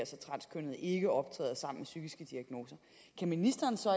så transkønnede ikke optræder sammen psykiske diagnoser kan ministeren så